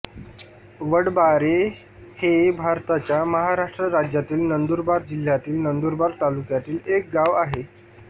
वडबारे हे भारताच्या महाराष्ट्र राज्यातील नंदुरबार जिल्ह्यातील नंदुरबार तालुक्यातील एक गाव आहे